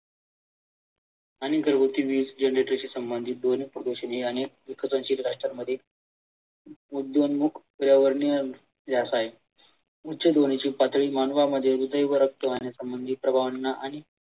उच्च ध्वनीची पातळी मानावा मध्ये